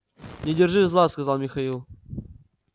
не держи зла сказал михаил